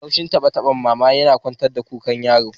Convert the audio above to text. Laushin tabe-taben mama tana kwantar da kukan yaron